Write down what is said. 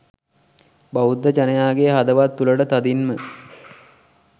බෞද්ධ ජනයාගේ හදවත් තුළටතදින්ම